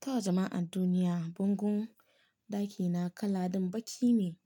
To jama'an duniya, bangon ɗakina kala ɗin baƙi ne.